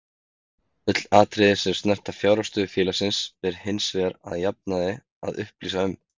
Öll atriði sem snerta fjárhagsstöðu félagsins ber hins vegar að jafnaði að upplýsa um.